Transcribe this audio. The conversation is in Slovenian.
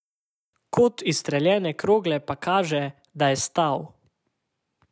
Kot izstreljene krogle pa kaže, da je stal.